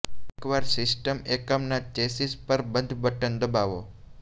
એકવાર સિસ્ટમ એકમ ના ચેસીસ પર બંધ બટન દબાવો